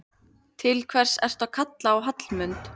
Til hvers ertu að kalla á Hallmund?